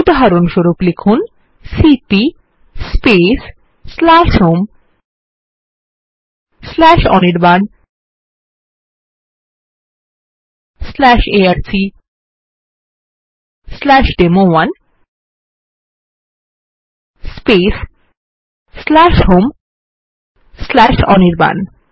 উদাহরণস্বরূপ লিখুন সিপি homeanirbanarcডেমো1 হোম অনির্বাণ